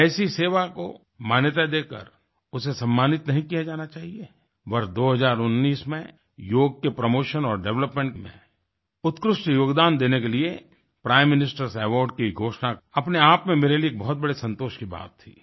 क्या ऐसी सेवा को मान्यता देकर उसे सम्मानित नहीं किया जाना चाहिए वर्ष 2019 में योग के प्रोमोशन और डेवलपमेंट में उत्कृष्ट योगदान देने के लिए प्राइम ministerएस अवार्ड्स की घोषणा अपने आप में मेरे लिए एक बड़े संतोष की बात थी